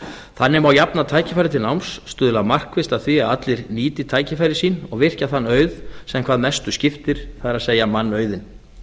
þannig má jafna tækifæri til náms stuðla markvisst að því að allir nýti tækifæri sín og virkja þann auð sem hvað mestu skiptir það er mannauðinn